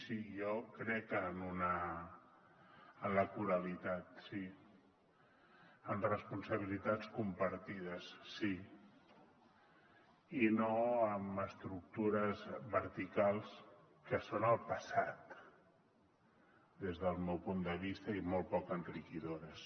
sí jo crec en la coralitat sí en responsabilitats compartides sí i no en estructures verticals que són el passat des del meu punt de vista i molt poc enriquidores